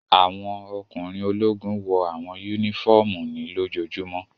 Awọn ọkunrin ologun wọ awọn unifọmú ni lojojumo